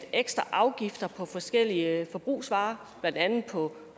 ekstra afgifter på forskellige forbrugsvarer blandt andet på